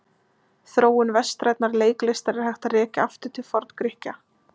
Þróun vestrænnar leiklistar er hægt að rekja aftur til Forngrikkja.